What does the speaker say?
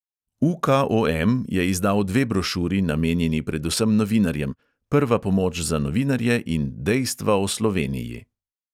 UKOM je izdal dve brošuri, namenjeni predvsem novinarjem: prva pomoč za novinarje in dejstva o sloveniji.